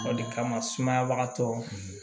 Barika sumayabagatɔ